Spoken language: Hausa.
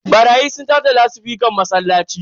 Barayi sun sace lasifican masallaci.